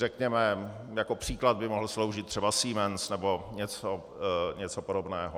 Řekněme jako příklad by mohl sloužit třeba Siemens nebo něco podobného.